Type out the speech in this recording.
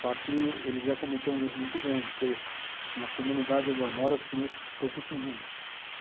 Só que eles iam cometer um erro muito grande, porque na comunidade onde eu moro eu conheço todo mundo.